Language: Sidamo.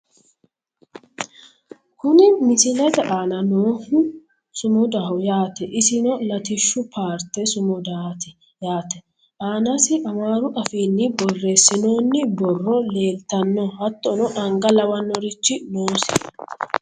kuni misilete aana noohu sumudaho yaate isno latishshu paarte sumudaati yaate, aanasi amaaru afiinni borreessinoonni borro leeltanno hattono anga lawannorichi noosiho.